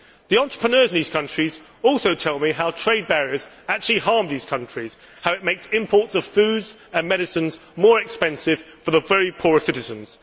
The entrepreneurs in these countries also tell me how trade barriers actually harm these countries and how it makes imports of food and medicines more expensive for the very poorest citizens.